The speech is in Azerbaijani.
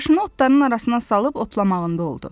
Başını otların arasına salıb otlamağında oldu.